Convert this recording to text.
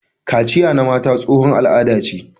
Kaciya na mata tsohon al'ada ce.